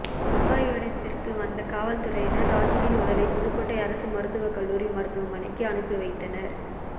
சம்பவ இடத்திற்கு வந்த காவல் துறையினா் ராஜூவின் உடலை புதுக்கோட்டை அரசு மருத்துவக்கல்லூரி மருத்துவமனைக்கு அனுப்பி வைத்தனா்